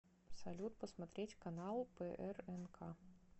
салют посмотреть канал прнк